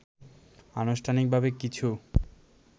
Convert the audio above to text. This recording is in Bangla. আনুষ্ঠানিকভাবে কিছু